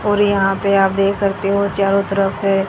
और यहां पे आप देख सकते हो चारों तरफ है।